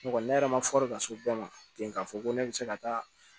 Ne kɔni ne yɛrɛ ma fɔli ka se bɛɛ ma ten k'a fɔ ko ne bɛ se ka taa